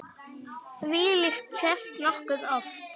Þvílíkt sést nokkuð oft.